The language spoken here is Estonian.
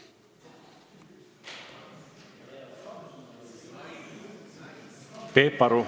Peep Aru.